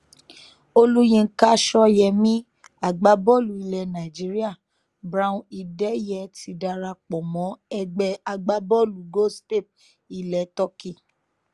olùyinka só̩yé̩mí agbábọ́ọ̀lù ilẹ̀ nàìjíríà brown ìdè̩yé ti darapọ̀ mọ́ ẹgbẹ́ agbábọ́ọ̀lù goztepe ilẹ̀ turkey